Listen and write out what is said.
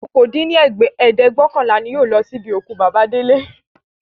okòó dín ní ẹ̀ẹ́dẹ́gbẹ́ọ̀kànlá ni yóò lọ sí ibi òkú bàbà Délé